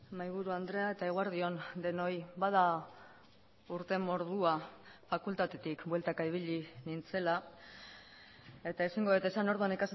mahaiburu andrea eta eguerdi on denoi bada urte mordoa fakultatetik bueltaka ibili nintzela eta ezingo dut esan orduan